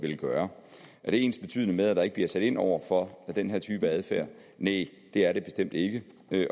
vil gøre er det ensbetydende med at der ikke bliver sat ind over for den her type adfærd næ det er det bestemt ikke